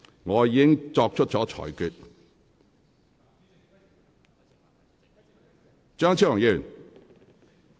我已經作出了裁決。